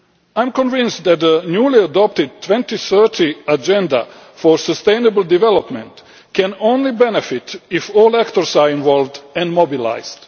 I am convinced that the newly adopted 2030 agenda for sustainable development can only be of benefit if all actors are involved and mobilised.